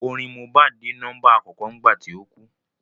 Orin Mohbad dé nọ́mbà àkọ́kọ́ nígbà tí ó kú